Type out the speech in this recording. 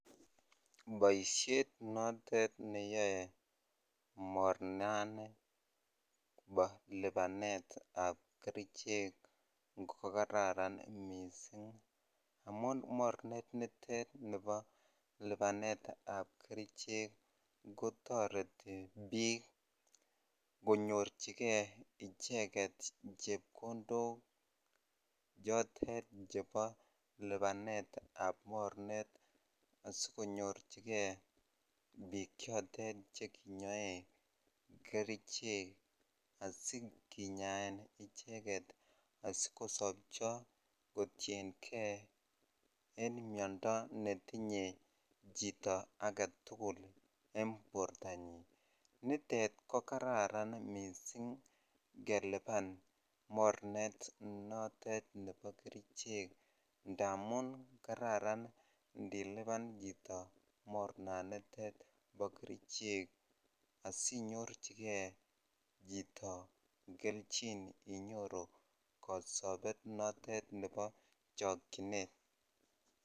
Boishet notet neyoe mornani bo lipanetab kerichek ko kararan mising amun mornet nitet nibo lipanetab kerichek kotoreti biik konyorchike icheket chepkondok chotet chebo lipanetab mornet asikonyorchike biik chotet chekinyoe kerichek asikinyaen icheket asikosobcho kotienge en miondo netinye chito aketukul en bortanyin, nitet ko kararan mising keliban mornet notet nebo kerichek ndamun kararan ndiliban chito mornanitet bo kerichek asinyorchike chito kelchin inyoru kosobet notet nebo chokyinet.